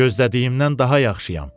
Gözlədiyimdən daha yaxşıyam.